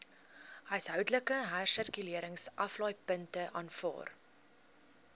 huishoudelike hersirkuleringsaflaaipunte aanvaar